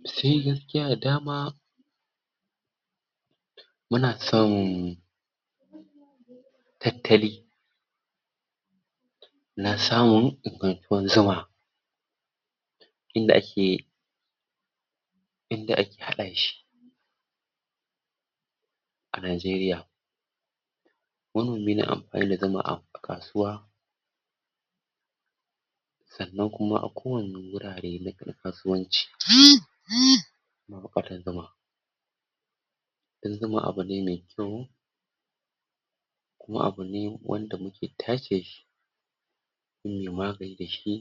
Mu sayi gaskiya dama muna son tattali na son inda ake inda ake haɗa shi a Najeriya manomi na amfani ya zama a kasuwa sannan kuma a kowane wurare na na kasuwanci dun zuma abu ne mai kyau kuma abu ne wanda muke tace mun yi magani da shi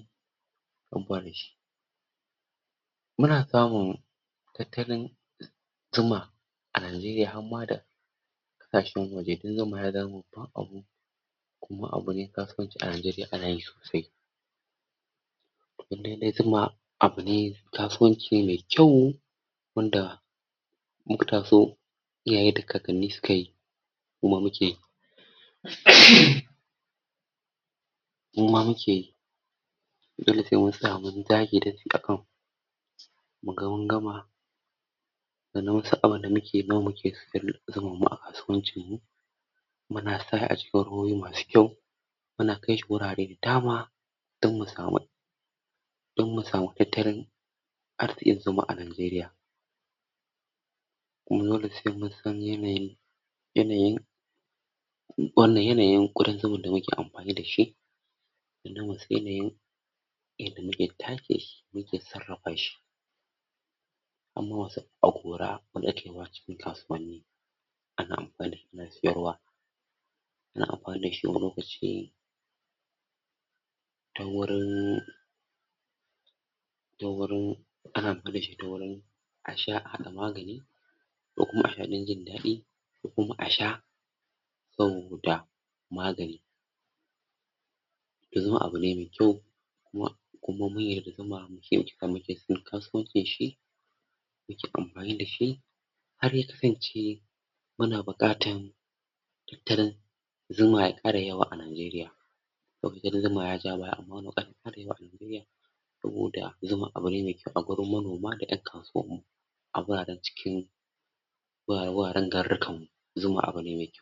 da shi. Muna samun tattalin zuma a Najeriya har ma da ƙasashen waje, dun zuma ya dawo kuma abu ne kasan a Najeriya ana yi sosai in dai-dai zuma abu ne, kasuwanci ne mai kyau wanda muka taso iyaye da kakanni suka yi muma muke yi muma muke yi dole sai mun sa mun dage da kanmu muga mun gama sannan wasu abu da muke nawa muke zuman mu a kasuwancin mu muna sa aji masu kyau muna kai shi wurare dama don mu samu don mu samu ƙeteren arziƙin zuma a Najeriya Mun zo da sike mun san yanayi yanayi wannan yanayin ƙudan zuma da muke amfani da shi yadda muke tatse shi, muke sarrafa shi hama wa sa a gora mu daɗe kasuwanni ana amfani ana siyarwa ana amfani da shi wani lokaci ta wurin ta wurin, ana amfani da shi ta wurin a sha, a haɗa magani ko kuma a hain jin daɗi ko kuma a sha sau da magani ya zama abu ne mai kyau kuma kuma mun yarda zuma. Shi yasa muke son kasuwancin shi, muke amfani da shi har ya kasance muna buƙatan tirin zuma ya ƙara yawa a Najeriya ma yaja baya amma mu ƙara mu ƙara yawa Najeriya saboda zuma abu ne mai kyau a wurin manoma da ’yan kasuwa a guraren cikin wurare wuraren garurukan mu zuma abu ne mai…